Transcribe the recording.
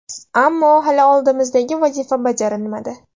Ammo hali oldimizdagi vazifa bajarilmadi.